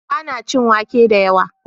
Ba na cin wake da yawa